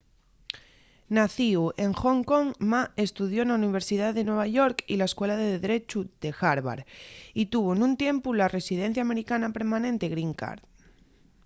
nacíu en hong kong ma estudió na universidá de nueva york y la escuela de drechu de harvard y tuvo nun tiempu la residencia americana permanente green card